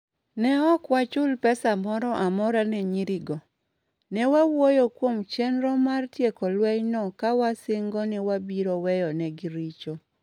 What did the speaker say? "Ne ok wachul pesa moro amora ne nyirigo. Ne wawuoyo kuom chenro mar tieko lwenyno ka wasingo ni wabiro weyo negi richo".